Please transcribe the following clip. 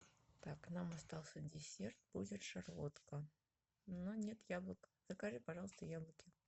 так нам остался десерт будет шарлотка но нет яблок закажи пожалуйста яблоки